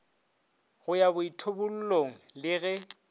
go ya boithobollong le ge